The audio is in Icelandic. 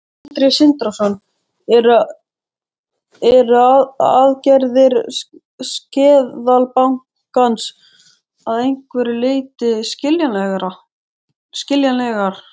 Sindri Sindrason: Eru aðgerðir Seðlabankans að einhverju leyti skiljanlegar?